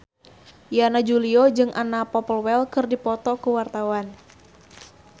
Yana Julio jeung Anna Popplewell keur dipoto ku wartawan